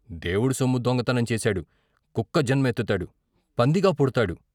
దేవుడు సొమ్ము దొంగతనం చేశాడు. కుక్కజన్మ ఎత్తుతాడు, పందిగా పుడ్తాడు.